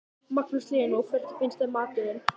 Magnús Hlynur: Og hvernig finnst þeim maturinn?